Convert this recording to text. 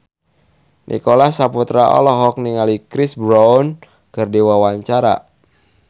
Nicholas Saputra olohok ningali Chris Brown keur diwawancara